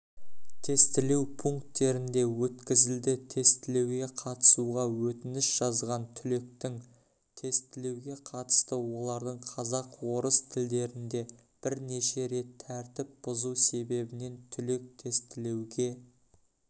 тестілеу пункттерінде өткізілді тестілеуге қатысуға өтініш жазған түлектің тестілеуге қатысты олардың қазақ орыс тілдерінде бірнеше рет тәртіп бұзу себебінен түлек тестілеуге